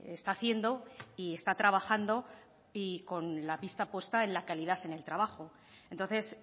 está haciendo y está trabajando y con la pista puesta en la calidad en el trabajo entonces